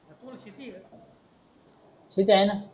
शेती आहे णा